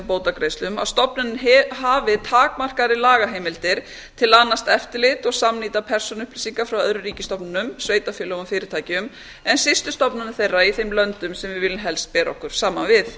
bótagreiðslum að stofnunin hafi takmarkaðri lagaheimildir til að annast eftirlit og samnýta persónuupplýsingar frá öðrum ríkisstofnunum sveitarfélögum og fyrirtækjum en systurstofnanir þeirra í þeim löndum sem við viljum helst bera okkur saman við